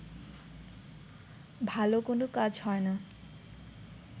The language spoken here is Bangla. ভালো কোনো কাজ হয় না